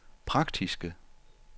praktiske